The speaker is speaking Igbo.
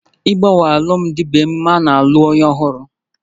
Ịgbanwe alụmdi na nwunye bụ ememe n'ịlụ nwunye ọhụrụ